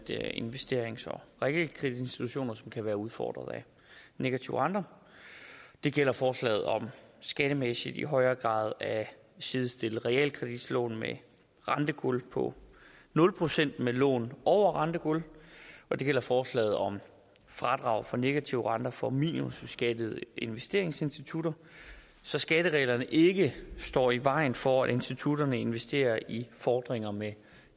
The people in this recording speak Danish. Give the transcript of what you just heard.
investerings og realkreditinstitutter som kan være udfordret af negative renter det gælder forslaget om skattemæssigt i højere grad at sidestille realkreditlån med rentegulv på nul procent med lån over rentegulv og det gælder forslaget om fradraget for negative renter for minimumsbeskattede investeringsinstitutter så skattereglerne ikke står i vejen for at institutterne investerer i fordringer med